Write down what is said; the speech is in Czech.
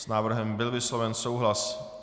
S návrhem byl vysloven souhlas.